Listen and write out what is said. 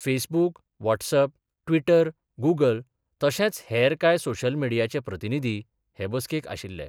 Facebook, WhatsApp, Twitter, Google तशेच हेर काय सोशल मीडियाचे प्रतिनिधी हे बसकेक आशिल्ले.